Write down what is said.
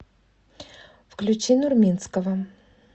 включи нурминского